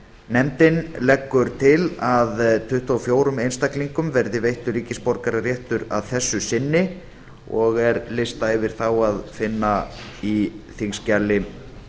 nefndin leggur til að tuttugu og fjórum einstaklingum verði veittur ríkisborgararéttur að þessu sinni og er lista yfir þá að finna í þingskjali